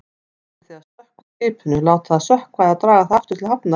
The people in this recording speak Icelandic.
Ætlið þið að sökkva skipinu, láta það sökkva eða draga það aftur til hafnar?